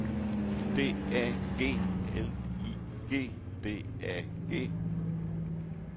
D A G L I G D A G